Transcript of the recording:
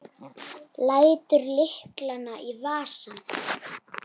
Lætur lyklana í vasann.